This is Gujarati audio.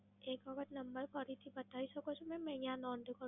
એક વખત નંબર ફરીથી બતાઈ શકો છો મેમ? મેં અહીંયા નોંધ કરું